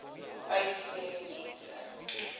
uys sê mense